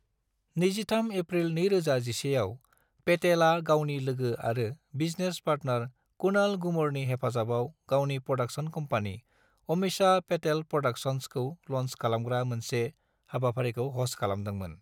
23 April 2011 आव, पेटेलआ गावनि लोगो आरो बिजनेस पार्टनार कुणाल गूमरनि हेफाजाबाव गावनि प्रोडक्शन कम्पानि, अमीषा पेटेल प्रोडक्शन्सखौ ल'न्च खालामग्रा मोनसे हाबाफारिखौ ह'स्त खालामदोंमोन।